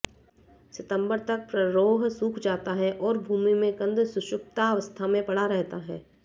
सितंबर तक प्ररोह सूख जाता है और भूमि में कंद सुषुप्तावस्था में पड़ा रहता है